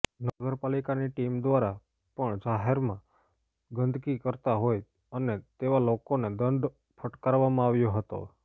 નગરપાલિકાની ટીમ દ્વારા પણ જહેરમા ગંદકી કરતા હોય અને તેવા લોકોને દંડ ફટકારવામાં આવ્યો હતો